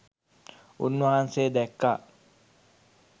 උන්වහන්සේ දැක්කා